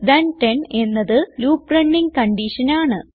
ഇൽട്ട്10 എന്നത് loop running കൺഡിഷനാണ്